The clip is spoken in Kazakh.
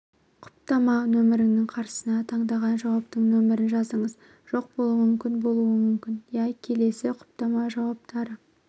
құптама нөмірінің қарсысына таңдаған жауаптың нөмірін жазыңыз жоқ болмауы мүмкін болуы мүмкін иә келесі құптама жауаптары